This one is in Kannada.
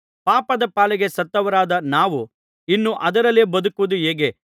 ಪಾಪದ ಪಾಲಿಗೆ ಸತ್ತವರಾದ ನಾವು ಇನ್ನು ಅದರಲ್ಲೇ ಬದುಕುವುದು ಹೇಗೆ